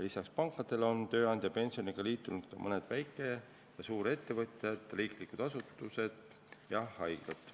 Lisaks pankadele on tööandjapensionisüsteemiga liitunud ka mõned väike- ja suurettevõtjad, riiklikud asutused ja haiglad.